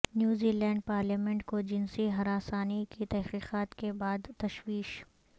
New Zealand parliament کو جنسی ہراسانی کی تحقیقات کے بعد تشویش